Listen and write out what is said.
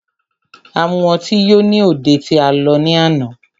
A mu ọtí yó ní òde tí a lọ ní àná.